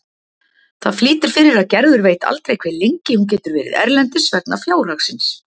Það flýtir fyrir að Gerður veit aldrei hve lengi hún getur verið erlendis vegna fjárhagsins.